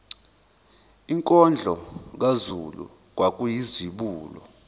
inkondlo kazulu kwakuyizibulo